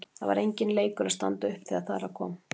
Það var enginn leikur að standa upp þegar þar að kom.